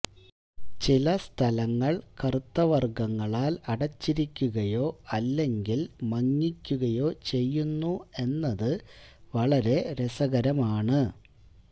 ചില സ്ഥലങ്ങൾ കറുത്തവർഗ്ഗങ്ങളാൽ അടച്ചിരിക്കുകയോ അല്ലെങ്കിൽ മങ്ങിക്കുകയോ ചെയ്യുന്നു എന്നത് വളരെ രസകരമാണ്